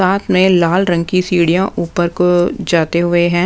साथ में लाल रंग की सीढ़ियाँ ऊपर को जाते हुए हैं।